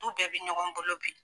Du bɛɛ bi ɲɔgɔn bolo bi.